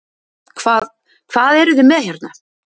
Hvað, hvað eruð þið með hérna?